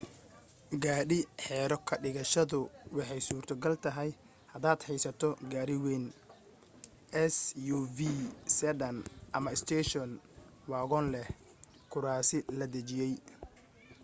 gaadhi xero ka dhigashadu waxay suurto gal tahay hadaad haysato gaari wayn suv sedan ama station wagon leh kuraasi la dejiyay